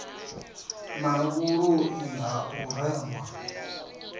na vhuloi ha u rengwa